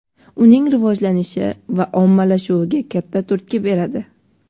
uning rivojlanishi va ommalashuviga katta turtki beradi.